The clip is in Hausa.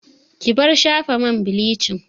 Ki bar shafa man bilicin!